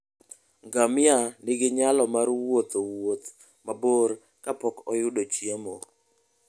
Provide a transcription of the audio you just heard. Ngamia nigi nyalo mar wuotho wuoth mabor ka pok oyudo chiemo.